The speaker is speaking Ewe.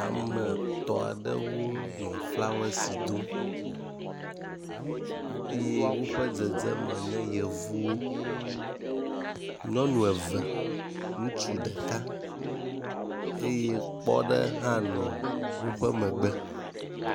ame tɔ̃ ɖewo nɔ flawasi dom eye wóƒe dzedzeme nye yevuwo nyɔŋu eve ŋutsu ɖeka eye kpɔ́ ɖe hã no wóƒe megbe